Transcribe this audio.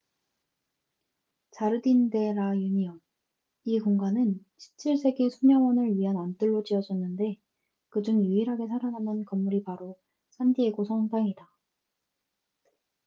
자르딘 데 라 유니온 이 공간은 17세기 수녀원을 위한 안뜰로 지어졌는데 그중 유일하게 살아남은 건물이 바로 산디에고 성당이다